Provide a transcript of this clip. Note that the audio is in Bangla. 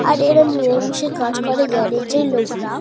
আর এরম মিলেমিশে কাজ করে গ্যারেজ -এর লোকরা--